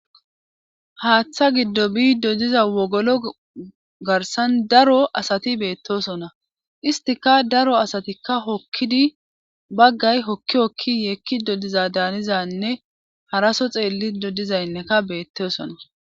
Haaththa giddo biido diza wogolo garsan daro asati beettosona istika daro asatikka hokkidi baggay hokki okki yeekki dodiza daanizanne haraso xeelli dodizaynneka beettosona.